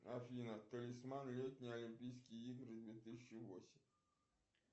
афина талисман летние олимпийские игры две тысячи восемь